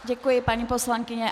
Děkuji, paní poslankyně.